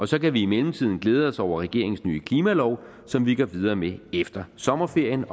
så kan vi i mellemtiden glæde os over regeringens nye klimalov som vi går videre med efter sommerferien